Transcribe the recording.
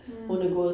Mh